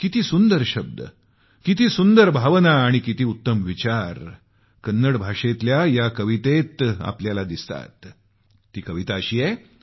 किती सुंदर शब्द किती सुंदर भावना आणि किती उत्तम विचार कन्नड भाषेतल्या या कवितेत आहेत